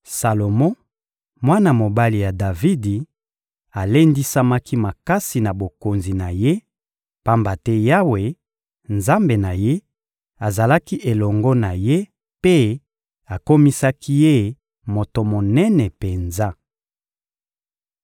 Salomo, mwana mobali ya Davidi, alendisamaki makasi na bokonzi na ye, pamba te Yawe, Nzambe na ye, azalaki elongo na ye mpe akomisaki ye moto monene penza. (1Ba 3.4-15)